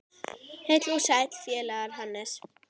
Heill og sæll félagi Hannes!